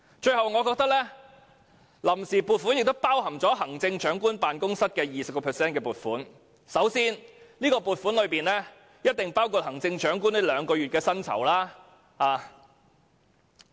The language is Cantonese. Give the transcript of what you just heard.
最後，臨時撥款亦包含行政長官辦公室的 20% 撥款，這筆撥款必然包含行政長官兩個月的薪酬。